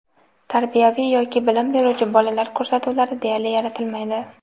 tarbiyaviy yoki bilim beruvchi bolalar ko‘rsatuvlari deyarli yaratilmaydi.